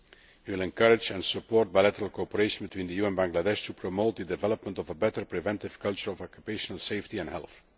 end. We will encourage and support bilateral cooperation between the EU and Bangladesh to promote the development of a better preventive culture of occupational safety and health.